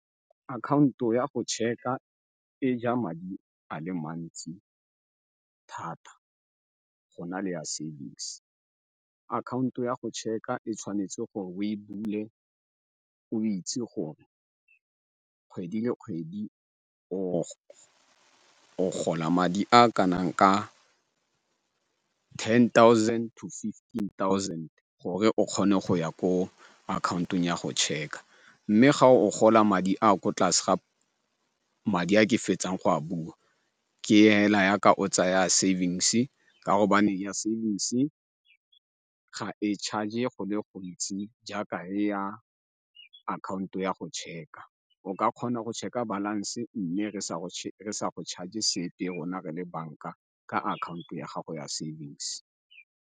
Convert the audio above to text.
Akhaonto ya go cheque-a e ja madi a le mantsi thata go na le ya savings. Akhaonto ya go cheque-a e tshwanetse gore o e bule o itse gore kgwedi le kgwedi o gola madi a ka nang ka yen thousand to fifteen thousand gore o kgone go ya ko akhaontong ya go cheque-a. Mme ga o gola madi a a ko tlase ga madi a ke fetsang go a bua ke hela yaka o tsaya savings ka gobane ya savings ga e charge-e go le gontsi jaaka ya akhaonto ya go cheque-a. O ka kgona go checker balance mme re sa go charge sepe rona re le banka ka akhaonto ya gago ya savings.